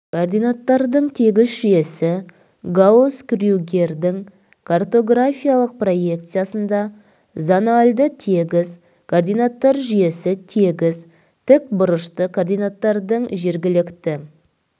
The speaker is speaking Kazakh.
координаттардың тегіс жүйесі гаусс крюгердің картографиялық проекциясында зональді тегіс координаттар жүйесі тегіс тікбұрышты координаттардың жергілікті